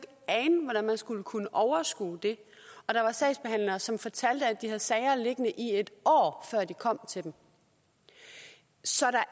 ane hvordan man skulle kunne overskue det og der var sagsbehandlere som fortalte at de havde sager liggende i et år før de kom til dem så der